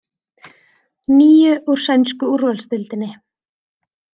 Níu úr sænsku úrvalsdeildinni